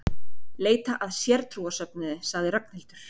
Leita að sértrúarsöfnuði sagði Ragnhildur.